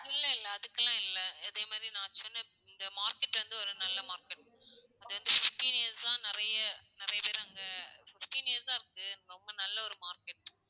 இல்ல இல்ல அதுக்கு எல்லாம் இல்ல. அதே மாதிரி நான் சொன்ன இந்த market வந்து ஒரு நல்ல market அது வந்து fifteen years சா நிறைய, நிறைய பேர் அங்க, fifteen years சா இருக்கு, நல்ல ஒரு market